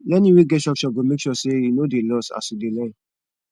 learning wey get structure go make sure say you no dey lost as you dey learn